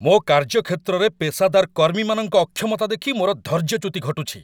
ମୋ କାର୍ଯ୍ୟକ୍ଷେତ୍ରରେ ପେସାଦର କର୍ମୀମାନଙ୍କ ଅକ୍ଷମତା ଦେଖି ମୋର ଧୈର୍ଯ୍ୟଚ୍ୟୁତି ଘଟୁଛି।